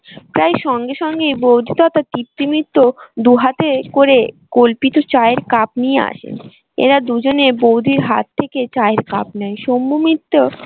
প্রায় সঙ্গে সঙ্গে বৌদি মিত্র দুহাতে করে কল্পিত চায়ের cup নিয়ে আসে। এরা দুজনে বৌদির হাত থেকে চায়ের cup নেয়। শম্ভু মিত্র